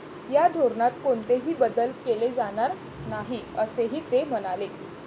या धोरणात कोणतेही बदल केले जाणार नाही, असेही ते म्हणाले.